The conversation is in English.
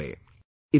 There is another way